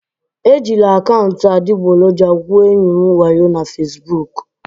E jiri akaụntụ adịgboroja gwuo enyi m wayo na Fesbuku